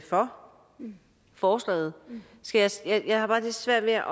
for forslaget jeg har bare lidt svært ved at